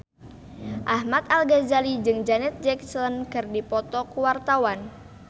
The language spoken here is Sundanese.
Ahmad Al-Ghazali jeung Janet Jackson keur dipoto ku wartawan